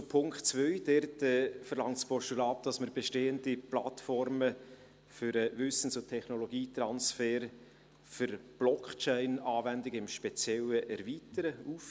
Zu Punkt 2: Dort verlangt das Postulat, dass wir bestehende Plattformen für den Wissens- und Technologietransfer für Blockchain-Anwendungen im Speziellen erweitern und öffnen.